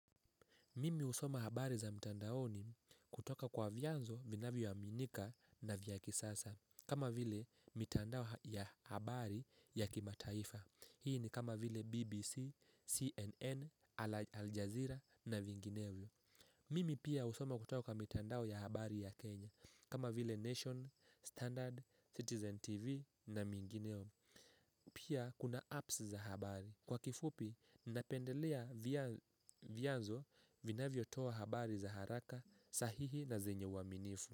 Mimi usoma habari za mitandaoni kutoka kwa vyanzo vinavyoaminika na vya kisasa kama vile mitandao ya habari ya kimataifa. Hii ni kama vile BBC, CNN, Al Jazeera na vingineo. Mimi pia usoma kutoka mitandao ya habari ya Kenya Kama vile Nation, Standard, Citizen TV na vingineo. Pia kuna apps za habari. Kwa kifupi, ninapendelea vyanzo vinavyotoa habari za haraka, sahihi na zenye uaminifu.